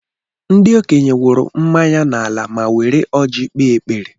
Ndị okenye wụrụ mmanya n'ala ma were ọjị kpee ekpere.